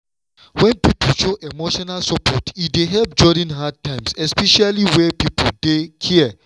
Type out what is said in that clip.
wen person show emotional support e dey help during hard times especially where people dey care.